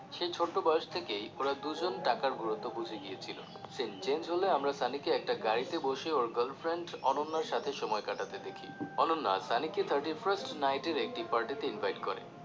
সেই ছোট্ট বয়স থেকেই ওরা দুজন টাকার গুরুত্ব বুঝে গিয়েছিলো scene change হলে আমরা সানিকে একটা গাড়িতে বসে ওর girlfriend অনন্যার সাথে সময় কাটাতে দেখি অনন্যা সানিকে thirty first night এর একটি party তে invite করে